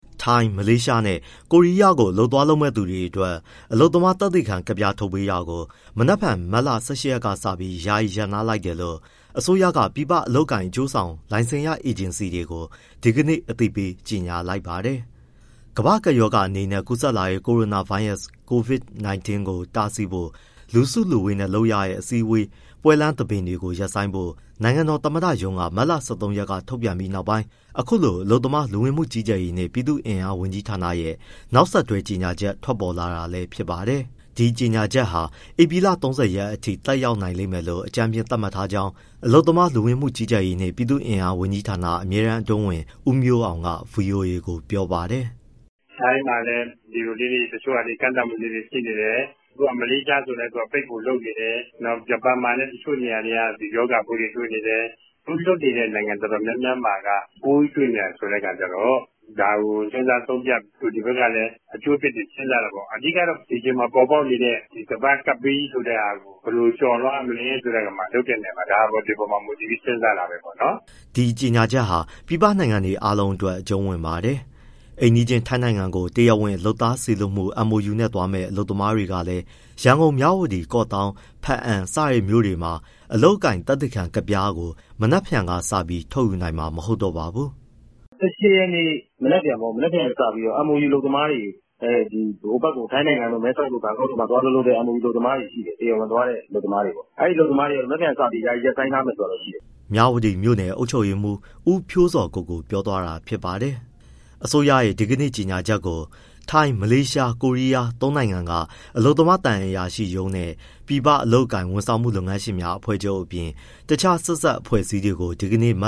ထိုင်း၊ မလေးရှားနဲ့ ကိုရီးယားကို အလုပ်သွားလုပ်မယ့်သူတွေအတွက် အလုပ်သမားသက်သေခံကဒ်ပြား ထုတ်ပေးတာကို မနက်ဖြန် မတ်လ ၁၈ ရက်ကစပြီး ယာယီရပ်နား လိုက်တယ်လို့ အစိုးရက ပြည်ပအလုပ်အကိုင် အကျိုးဆောင် လိုင်စင်ရအေဂျင်စီတွေကို ဒီကနေ့ အသိပေး ကြေညာလိုက်ပါတယ်။ ကမ္ဘာ့ကပ်ရောဂါအနေနဲ့ ကူးစက်လာတဲ့ ကိုရိုနာဗိုင်းရပ်စ် Covid-19 ကို တားဆီးဖို့ လူစုလူဝေးနဲ့ လုပ်ရတဲ့ အစည်းအဝေး၊ ပွဲလမ်းသဘင်တွေ ရပ်ဆိုင်းဖို့ နိုင်ငံတော် သမ္မတရုံးက မတ်လ ၁၃ ရက်က ထုတ်ပြန်ပြီးနောက်ပိုင်း အခုလို အလုပ်သမား၊ လူဝင်မှုကြီးကြပ်ရေးနှင့် ပြည်သူ့အင်အားဝန်ကြီးဌာနရဲ့ နောက်ဆက်တွဲ ကြေညာချက်ထွက်ပေါ်လာတာလည်း ဖြစ်ပါတယ်။ ဒီကြေညာချက်ဟာ ဧပြီလ ၃၀ ရက်အထိ သက်ရောက်နိုင်မယ်လို့ အကြမ်းဖျင်းသတ်မှတ်ထားကြောင်း အလုပ်သမား၊ လူဝင်မှုကြီးကြပ်ရေးနှင့် ပြည်သူ့အင်အား ဝန်ကြီးဌာန အမြဲတမ်းအတွင်းဝန် ဦးမျိုးအောင်က ဗွီအိုအေကို ပြောပါတယ်။ “ထိုင်းမှာလည်း ကန့်သတ်မှုလေးတွေ ရှိနေတယ်။ မလေးရှားဆိုလည်း ပိတ်ဖို့လုပ်နေတယ်။ ဂျပန်မှာလည်း တချို့နေရာတွေက ရောဂါပိုးတွေ တွေ့နေတယ်။ အခု အလုပ်သမား လွှတ်နေတဲ့ နိုင်ငံအတော်များများမှာက ပိုးတွေ့နေတယ်ဆိုတဲ့အခါကျတော့ ဒါကို စဉ်းစားဆုံးဖြတ်၊ တို့ဒီဘက်ကလည်း အကျိုးအပြစ်တွေ စဉ်းစားတာပေါ့။ အဓိကတော့ ဒီအချိန်မှာပေါ်ပေါက်နေတဲ့ ကမ္ဘာ့ ကပ်ဘေးကြီးဆိုတဲ့ဟာကို ဘယ်လိုကျော်လွှားရမလဲဆိုတာ ဒီအပေါ်မှာ မူတည်ပြီး စဉ်းစားတာပေါ့။” ဒီကြေညာချက်ဟာ ပြည်ပနိုင်ငံတွေအားလုံးအတွက် အကျုံးဝင်ပါတယ်။ အိမ်နီးချင်း ထိုင်းနိုင်ငံကို တရားဝင်လုပ်သားစေလွှတ်မှု MoU နဲ့သွားမယ့် အလုပ်သမားတွေလည်း ရန်ကုန်၊ မြဝတီ၊ ကော့သောင်း၊ ဘားအံ စတဲ့မြို့တွေမှာ အလုပ်အကိုင် သက်သေခံကဒ်ပြားကို မနက်ဖြန်ကစပြီး ထုတ်ယူနိုင်မှာ မဟုတ်တော့ပါဘူး။ “၁၈ ရက် မနက်ဖြန်က စပြီးတော့ MoU အလုပ်သမားတွေ ထိုင်းနိုင်ငံ မဲဆောက်တို့၊ ဘန်ကောက်တို့မှာ သွားအလုပ်လုပ်တဲ့ MoU အလုပ်သမားတွေ ရှိတယ်။ တရားဝင်သွားတဲ့ အလုပ်သမားတွေပေါ့... အဲအလုပ်သမားတွေ မနက်ဖြန်ကစပြီး ယာယီရပ်ဆိုင်းထားမယ် ဆိုတာတော့ရှိတယ်။” မြဝတီမြို့နယ် အုပ်ချုပ်ရေးမှုး ဦးဖြိုးဇော်ကိုကို ပြောသွားတာဖြစ်ပါတယ်။ အစိုးရရဲ့ ဒီကနေ့ကြေညာချက်ကို သုံးနိုင်ငံက အလုပ်သမား သံအရာရှိရုံးနဲ့ ပြည်ပအလုပ်အကိုင် ဝန်ဆောင်မှု လုပ်ငန်းရှင်များအဖွဲ့ချုပ် အပြင် တခြား ဆက်စပ် အဖွဲ့အစည်းတွေကို ဒီကနေ့ မ